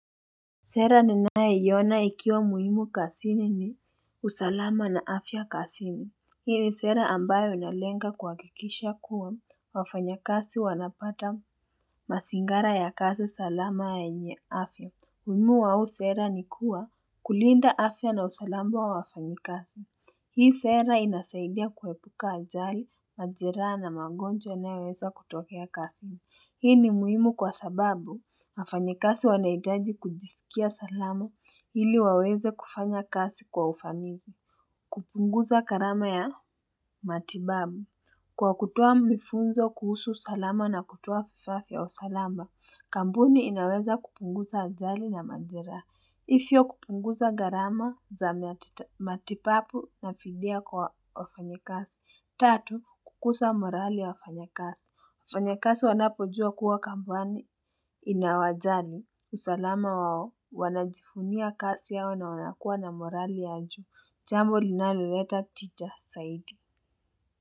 Sera ninayeiona ikiwa muhimu kasini ni usalama na afya kasini. Hii ni sera ambayo inalenga kuhakikisha kuwa wafanyakasi wanapata masingara ya kazi salama yenye afya. Uhimu wa huu sera ni kuwa kulinda afya na usalama wa wafanyikasi. Hii sera inasaidia kuhepuka ajali, majiraha na mangonjwa yanayoweza kutokea kasini. Hii ni muhimu kwa sababu, wafanyikasi wanahitaji kujisikia salama ili waweze kufanya kasi kwa ufanizi. Kupunguza karama ya matibabu. Kwa kutoa mifunzo kuhusu salama na kutoa vifaa vya usalama, kampuni inaweza kupunguza ajali na majeraha. Ifyo kupunguza gharama za matipapu nafidia kwa wafanyikasi. Tatu, kukusa morali ya wafanyikasi. Wafanyakasi wanapojua kuwa kampani inawajari usalama wao wanajifunia kasi yao na wanakuwa na morali anjo. Chambo linaloleta tija saidi.